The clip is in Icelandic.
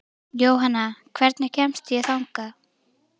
Jónanna, hvernig kemst ég þangað?